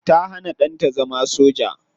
Ta hana danta zama soja.